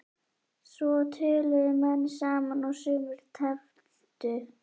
Svo töluðu menn saman og sumir tefldu.